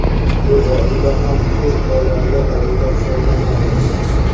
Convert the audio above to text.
bu oila ham ko‘p bolali oila hisoblanadi.